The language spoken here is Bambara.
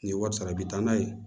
Ni wari sara i bi taa n'a ye